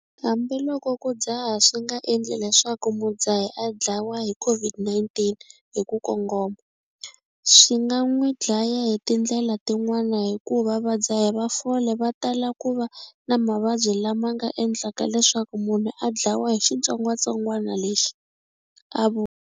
Hambiloko ku dzaha swi nga endli leswaku mudzahi a dlawa hi COVID-19 hi ku kongoma, swi nga n'wi dlaya hi tindlela tin'wana hikuva vadzahi va fole va tala ku va na mavabyi lama nga endlaka leswaku munhu a dlawa hi xitsongwantsongwana lexi, a vula.